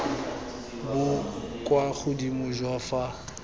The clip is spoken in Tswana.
bo kwa godimo jwa fa